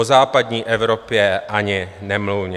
O západní Evropě ani nemluvě.